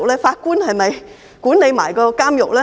法官是否一併管理監獄呢？